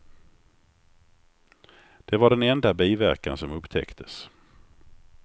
Det var den enda biverkan som upptäcktes.